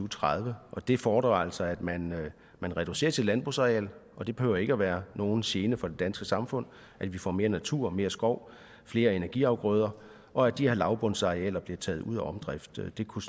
tredive og det fordrer altså at man reducerer sit landbrugsareal det behøver ikke at være nogen gene for det danske samfund at vi får mere natur mere skov flere energiafgrøder og at de her lavbundsarealer bliver taget ud af omdrift det kunne